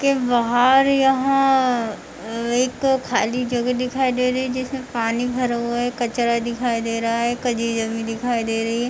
के बाहर यहां एक खाली जगह दिखाई दे रही है जिसमें पानी भरा हुआ है कचरा दिखाई दे रहा है कजी जमी दिखाई दे रही है।